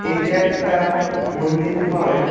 এইটা একটা মন্দির হয়।